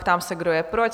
Ptám se, kdo je pro?